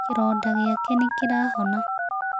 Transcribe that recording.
Kĩronda gĩake nĩ kĩrahona.